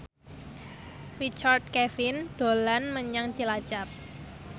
Richard Kevin dolan menyang Cilacap